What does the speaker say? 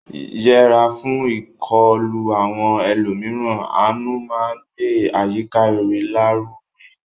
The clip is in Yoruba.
Yẹra fún ìkọlù àwọn ẹlòmíràn; àánú máa ń gbé àyíká rere lárugẹ.